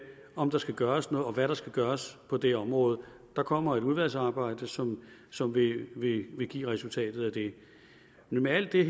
om der skal gøres noget og hvad der skal gøres på det område der kommer et udvalgsarbejde som som vil vil give resultatet af det men med alt det